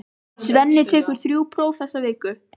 Svenni tekur þrjú próf þessa viku.